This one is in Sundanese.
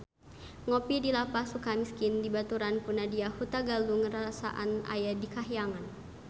Ngopi di Lapas Sukamiskin dibaturan ku Nadya Hutagalung rarasaan aya di kahyangan